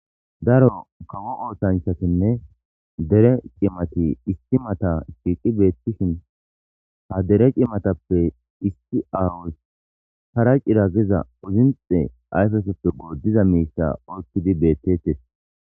Daro kawo oosanchatinne dere cimati issi mata shiiqi beetishin ha dere cimatappe issi awoz para cira Giza uzinxe ayfesoppe godiza miisha oykidi beetetes.